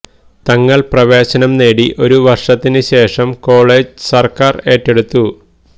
തങ്ങള് പ്രവേശനം നേടി ഒരു വര്ഷത്തിന് ശേഷം കോളജ് സര്ക്കാര് ഏറ്റെടുത്തു